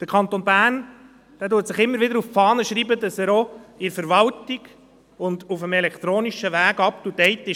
Der Kanton Bern schreibt sich immer wieder auf die Fahne, dass er auch in der Verwaltung und auf dem elektronischen Weg up to date ist.